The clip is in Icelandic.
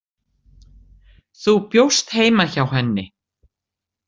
Þú bjóst heima hjá henni.